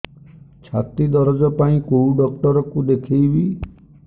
ଛାତି ଦରଜ ପାଇଁ କୋଉ ଡକ୍ଟର କୁ ଦେଖେଇବି